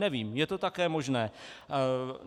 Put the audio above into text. Nevím, je to také možné.